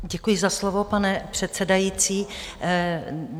Děkuji za slovo, pane předsedající.